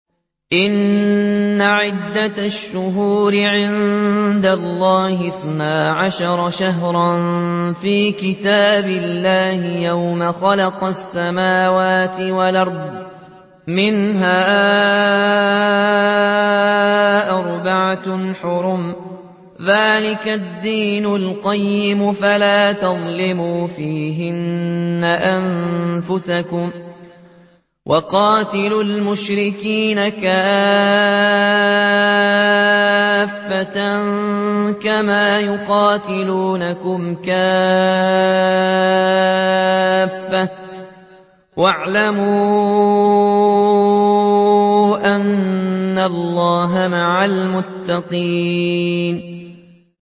إِنَّ عِدَّةَ الشُّهُورِ عِندَ اللَّهِ اثْنَا عَشَرَ شَهْرًا فِي كِتَابِ اللَّهِ يَوْمَ خَلَقَ السَّمَاوَاتِ وَالْأَرْضَ مِنْهَا أَرْبَعَةٌ حُرُمٌ ۚ ذَٰلِكَ الدِّينُ الْقَيِّمُ ۚ فَلَا تَظْلِمُوا فِيهِنَّ أَنفُسَكُمْ ۚ وَقَاتِلُوا الْمُشْرِكِينَ كَافَّةً كَمَا يُقَاتِلُونَكُمْ كَافَّةً ۚ وَاعْلَمُوا أَنَّ اللَّهَ مَعَ الْمُتَّقِينَ